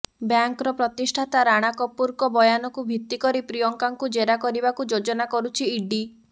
ବ୍ୟାଙ୍କର ପ୍ରତିଷ୍ଠାତା ରାଣା କପୁରଙ୍କ ବୟାନକୁ ଭିତ୍ତି କରି ପ୍ରିୟଙ୍କାଙ୍କୁ ଜେରା କରିବାକୁ ଯୋଜନା କରୁଛି ଇଡି